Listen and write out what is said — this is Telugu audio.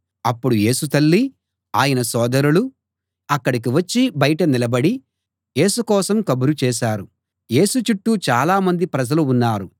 అప్పుడు యేసు తల్లి ఆయన సోదరులు అక్కడికి వచ్చి బయట నిలబడి యేసు కోసం కబురు చేశారు యేసు చుట్టూ చాలా మంది ప్రజలు ఉన్నారు